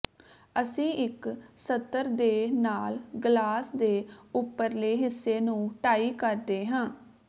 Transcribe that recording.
ਅਸੀਂ ਇੱਕ ਸਤਰ ਦੇ ਨਾਲ ਗਲਾਸ ਦੇ ਉਪਰਲੇ ਹਿੱਸੇ ਨੂੰ ਟਾਈ ਕਰਦੇ ਹਾਂ